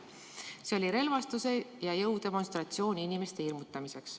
See oli relvastuse ja jõu demonstratsioon inimeste hirmutamiseks.